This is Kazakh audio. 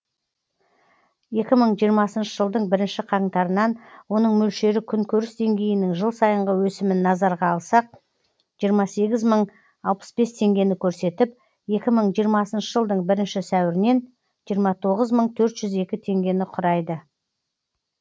екі мың жиырмасыншы жылдың бірінші қаңтарынан оның мөлшері күнкөріс деңгейінің жыл сайынғы өсімін назарға алсақ жиырма сегіз мың алпыс бес теңгені көрсетіп екі мың жиырмасыншы жылдың бірінші сәуірінен жиырма тоғыз мың төрт жүз екі теңгені құрайды